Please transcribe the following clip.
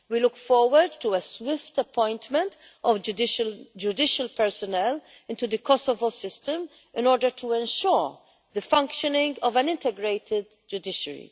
We look forward to a swift appointment of judicial personnel into the Kosovo system in order to ensure the functioning of an integrated judiciary.